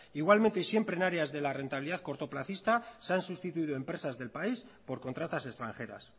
igualmente y siempre en áreas de la rentabilidad cortoplacista se han sustituido empresas del país por contratas extranjeras